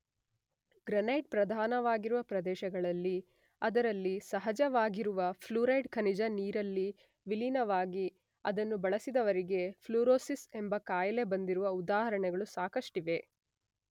Granite ಪ್ರಧಾನವಾಗಿರುವ ಪ್ರದೇಶಗಳಲ್ಲಿ ಅದರಲ್ಲಿ ಸಹಜವಾಗಿರುವ ಫ್ಲೂರೈಡ್ ಖನಿಜ ನೀರಿನಲ್ಲಿ ವಿಲೀನವಾಗಿ ಅದನ್ನು ಬಳಸಿದವರಿಗೆ ಪ್ಲೂರೋಸಿಸ್ ಎಂಬ ಕಾಯಿಲೆ ಬಂದಿರುವ ಉದಾಹರಣೆಗಳು ಸಾಕಷ್ಟಿವೆ.